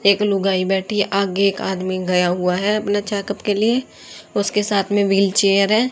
एक लुगाई बैठी आगे एक आदमी गया हुआ है अपना चेकअप के लिए उसके साथ में व्हीलचेयर है।